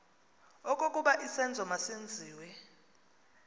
okokuba isenzo masenziwe